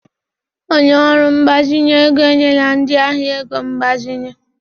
Onye ọrụ mgbazinye ego enyela ndị ahịa ego mgbazinye.